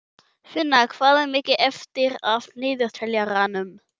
Finna, hvað er mikið eftir af niðurteljaranum?